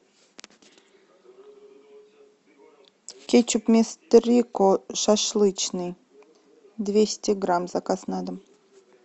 кетчуп мистер рико шашлычный двести грамм заказ на дом